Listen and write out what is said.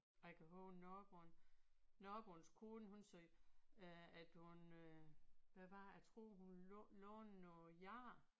Jeg kan huske naboen naboens kone hun sagde øh at hun øh hvad var det jeg tror hun ville låne noget gær